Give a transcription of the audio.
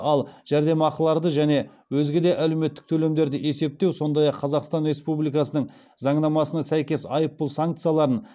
ал жәрдемақыларды және өзге де әлеуметтік төлемдерді есептеу сондай ақ қазақстан республикасының заңнамасына сәйкес айыппұл санкцияларын